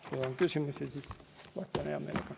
Kui on küsimusi, siis vastan hea meelega.